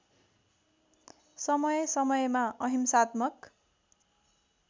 समय समयमा अहिंसात्मक